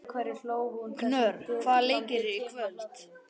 Knörr, hvaða leikir eru í kvöld?